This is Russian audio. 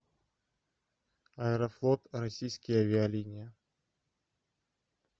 аэрофлот российские авиалинии